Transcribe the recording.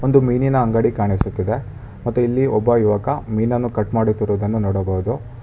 ಒಂದು ಮೀನಿನ ಅಂಗಡಿ ಕಾಣಿಸುತ್ತಿದೆ ಮತ್ತು ಇಲ್ಲಿ ಒಬ್ಬ ಯುವಕ ಮೀನನ್ನು ಕಟ್ ಮಾಡುತ್ತಿರುವುದನ್ನು ನೋಡಬಹುದು.